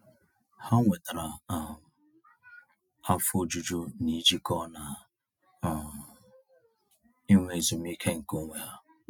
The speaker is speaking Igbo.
Ha nwetara um afọ ojuju n'ijikọ na um inwe ezumiike nke onwe ha.